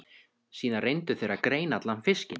Síðan reyndu þeir að greina allan fiskinn.